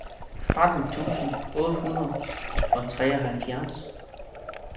tretten tusind otte hundrede og treoghalvfjerds